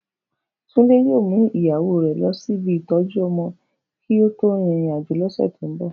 Tunde yoo mu iyawo lọ si ibi itọju ọmọ ki o to rin irin-ajo lọsẹ to nbọ.